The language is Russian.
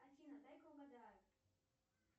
афина дай ка угадаю